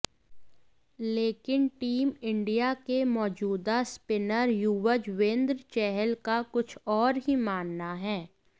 लेकिन team India के मौजूदा स्पिनर युवजवेंद्र चहल का कुछ और ही मानना है